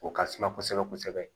O ka suma kosɛbɛ kosɛbɛ